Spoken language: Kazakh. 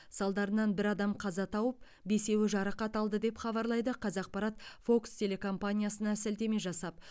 салдарынан бір адам қаза тауып бесеуі жарақат алды деп хабарлайды қазақпарат фокс телекомпаниясына сілтеме жасап